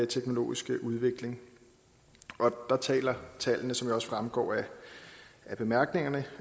teknologiske udvikling der taler tallene som jo også fremgår af bemærkningerne